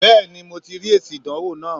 Bẹ́ẹ̀ni mo ti rí èsì ìdánwò náà